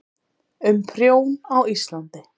um prjón á íslandi